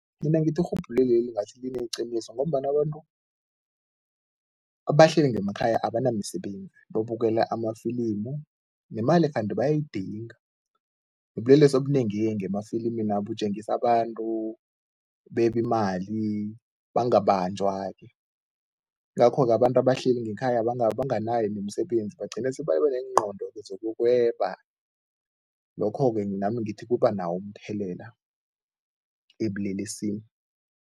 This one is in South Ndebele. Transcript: Mina ngithi irhubhululeli ngathi lineqiniso ngombana abantu abahleli ngemakhaya abanamisebenzi, babukela amafilimu nemali kanti bayayidinga nobulelesi obunengi-ke ngemafilimina butjengisa abantu beba imali, bangabanjwa-ke. Yingakho-ke abantu abahleli ngekhaya banganayo nemisebenzi, bagcine sebaba neengqondo-ke zokuyokweba, lokho-ke nami ngithi kuba nawo umthelela ebulelesini.